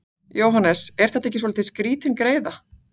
Jóhannes: Er þetta ekki svolítið skrítin greiða?